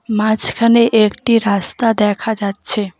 মাঝখানে একটি রাস্তা দেখা যাচ্ছে।